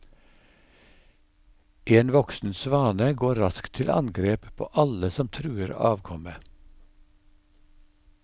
En voksen svane går raskt til angrep på alle som truer avkommet.